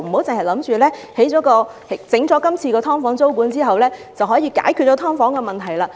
政府不要以為今次實施"劏房"租管便能解決"劏房"問題。